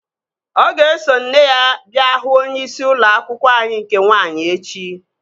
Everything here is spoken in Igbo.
Ọ ga-eso nne ya bịa hụ onyeisi ụlọ akwụkwọ anyị nke nwaanyị echi